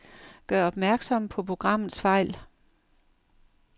Gør opmærksom på programmets fejl.